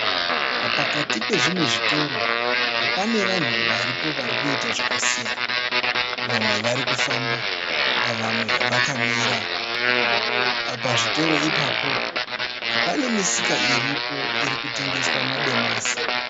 Pakati pezvimwe zvitoro pane vanhu varipo vari kuita zvakasiyana. Vamwe vari kufamba, vamwe vakamira. Pazvitoro ipapo pane misika iripo iri kutengeswa madomasi.